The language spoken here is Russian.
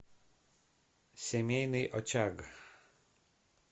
семейный очаг